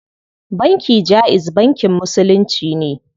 Banki jaiz bankin musulunci ne.